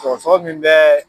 Sɔgɔsɔgɔ min bɛ